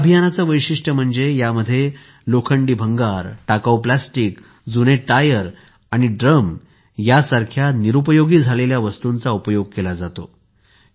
या अभियानचे वैशीष्ट्य म्हणजे यामध्ये लोखंडी भंगार टाकाऊ प्लास्टिक जुने टायर आणि ड्रम यासारख्या निरुपयोगी झालेल्या वस्तूंचा उपयोग केला जातो